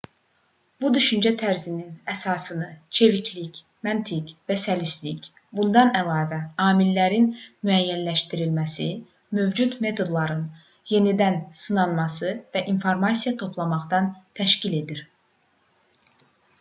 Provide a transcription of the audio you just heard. bu düşüncə tərzinin əsasını çeviklik məntiq və səlistlik bundan əlavə amillərin müəyyənləşdirilməsi mövcud metodların yenidən sınanması və informasiya toplamaqdan təşkil edir